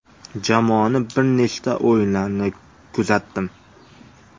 Jamoani bir nechta o‘yinlarini kuzatdim.